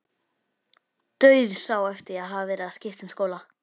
Dauðsá eftir að hafa verið að skipta um skóla.